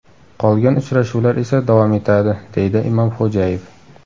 Qolgan uchrashuvlar esa davom etadi”, deydi Imomxo‘jayev.